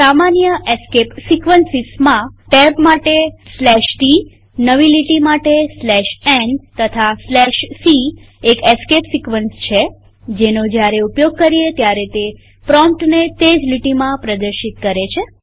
સામાન્ય એસ્કેપ સીક્વન્સીસમાં ટેબ માટે tનવી લીટી માટે n તથા c એક એસ્કેપ સિક્વન્સ છે જેનો જયારે ઉપયોગ કરીએ ત્યારે તે પ્રોમ્પ્ટને તે જ લીટીમાં પ્રદર્શિત કરે છે